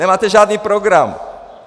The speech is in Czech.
Nemáte žádný program!